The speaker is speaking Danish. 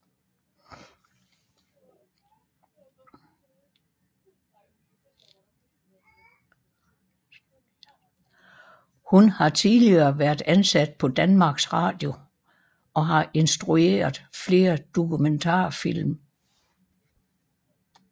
Hun har tidligere været ansat på Danmarks Radio og har instrueret flere dokumentarfilm